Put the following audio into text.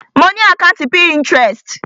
Mo ni àkàntí Pinterest.